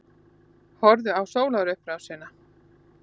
Horfðu á sólarupprásina.